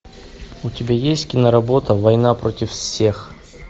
у тебя есть киноработа война против всех